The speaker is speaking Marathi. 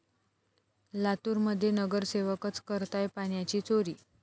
लातूरमध्ये नगरसेवकच करताय पाण्याची चोरी!